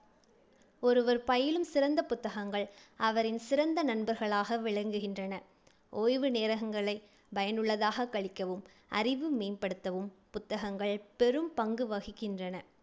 ஒருவர் பயிலும் சிறந்த புத்தகங்கள் அவரின் சிறந்த நண்பர்களாக விளங்குகின்றன. ஓய்வு நேரங்களைப் பயனுள்ளதாகக் கழிக்கவும்⸴ அறிவு மேம்படுத்தவும் புத்தகங்கள் பெரும் பங்கு வகிக்கின்றன.